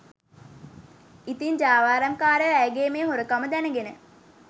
ඉතින් ජාවාරම්කාරයෝ ඇයගේ මේ හොරකම දැනගෙන